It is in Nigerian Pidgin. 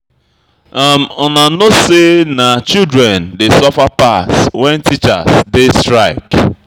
Una no know sey na students dey suffer pass wen teachers dey strike.